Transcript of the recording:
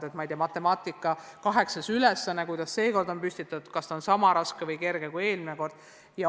Näiteks kuidas on matemaatikaeksami kaheksas ülesanne püstitatud sel korral ning kas see on sama raske või kerge kui eelmisel korral?